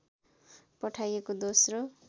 पठाइएको दोस्रो